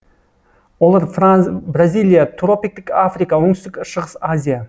олар бразилия тропиктік африка оңтүстік шығыс азия